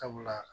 Sabula